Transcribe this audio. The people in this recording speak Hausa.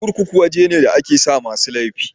Kurkuku waje ne da a ke sa masu laifi